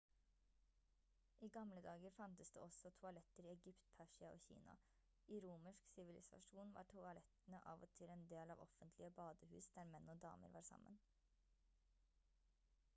i gamledager fantes det også toaletter i egypt persia og kina i romersk sivilisasjon var toalettene av og til en del av offentlige badehus der menn og damer var sammen